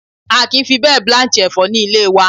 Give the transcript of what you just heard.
A kì í fi bẹ́ẹ̀ blanch Ẹ̀fọ́ ní ilé wa.